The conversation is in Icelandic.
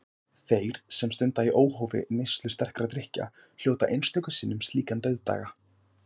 Þeir, sem stunda í óhófi neyslu sterkra drykkja, hljóta einstöku sinnum slíkan dauðdaga.